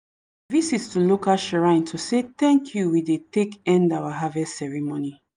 visit to local shrine to say thank you we dey take end our harvest ceremony.